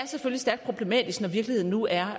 stærkt problematisk når virkeligheden nu er